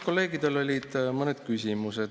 Kolleegidel olid mõned küsimused.